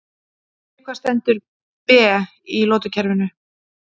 Fyrir hvað stendur Be í lotukerfinu?